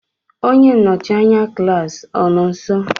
onye nnọchi anya klaasị gị anọ nso?